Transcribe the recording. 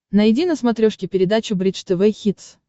найди на смотрешке передачу бридж тв хитс